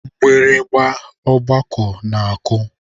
Mgbịrịgba ọgbakọ na-akụ.